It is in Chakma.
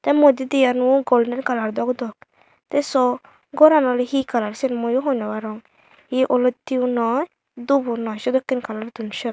Tai motdendi eyanyo goldenkalour dok dok te sw gor oley he kalour mui hoi nw arong olote yo noi dup bo noi seneke kalour don seyot.